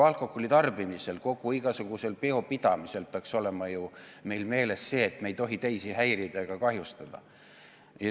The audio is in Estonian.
Alkoholi tarbides, igasuguseid pidusid pidades peaks meil olema ju meeles, et me ei tohi teisi häirida ega kahjustada.